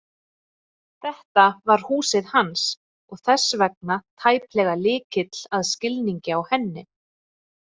Þetta var húsið hans og þess vegna tæplega lykill að skilningi á henni.